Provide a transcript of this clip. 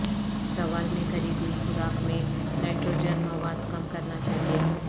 زوال میں قریبی خوراک میں نائٹروجن مواد کم کرنا چاہئے